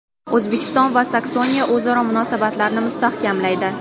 O‘zbekiston va Saksoniya o‘zaro munosabatlarni mustahkamlaydi.